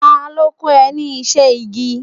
Ta ló kọ́ ẹ ní iṣẹ́ igi.?